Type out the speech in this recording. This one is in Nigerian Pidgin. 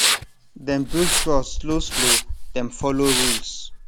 dem build trust slow slow dem follow rules